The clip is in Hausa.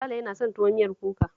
Sale yana son tuwo miyar kuka